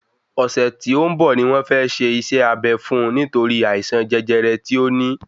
Ọ̀sẹ̀ tí ó ń bọ̀ ni wọ́n fẹ́ ṣe iṣẹ́ abé fún un nítorí àìsàn jẹjẹrẹ tí ó ní